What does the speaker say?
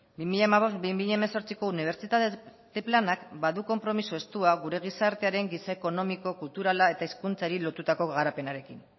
bi mila hamabost bi mila hemezortziko unibertsitate planak badu konpromiso estua gure gizartearen giza ekonomiko kulturala eta hezkuntzari lotutako garapenarekin